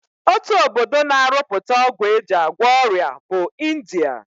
Otu obodo na-arụpụta ọgwụ e ji agwọ ọrịa bụ India